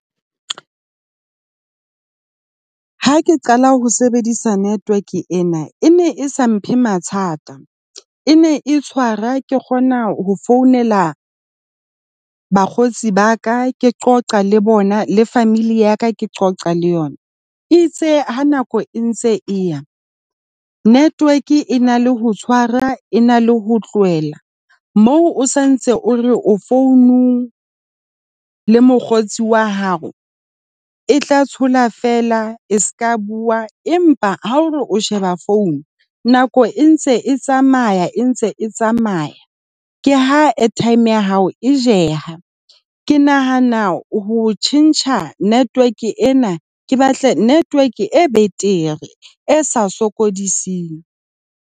Ha ke qala ho sebedisa network ena e ne e sa mphe mathata, e ne e tshwara ke kgona ho founela bakgotsi ba ka. Ke qoqa le bona le family ya ka, ke qoqa le yona. E itse ha nako e ntse e ya network e na le ho tshwara, e na le ho tlohela moo o sa ntse o re o founung le mokgotsi wa hao e tla thola fela e seka bua. Empa ha o re o sheba phone nako e ntse e tsamaya e ntse e tsamaya. Ke ha airtime ya hao e jeha. Ke nahana ho tjhentjha network ena. Ke batle network e betere, e sa sokodiseng.